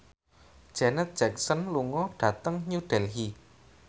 Janet Jackson lunga dhateng New Delhi